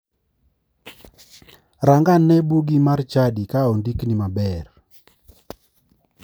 Rang ane bugi mar chadi ka ondikni maber.